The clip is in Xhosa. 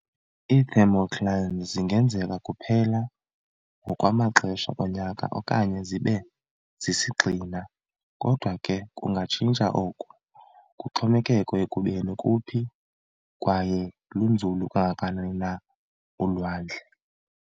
Ii-Thermoclines zingenzeka kuphela ngokwamaxesha onyaka okanye zibe sisigxina, kodwa ke kungatshintsa oku, kuxhomekeke ekubeni kuphi kwaye lunzulu kangakanani na ulwandle.